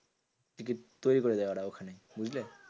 Ticket তৈরী করে দেয় ওরা ওখানে, বুঝলে?